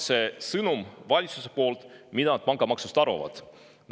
See on see valitsuse sõnum, mida nad pangamaksust arvavad.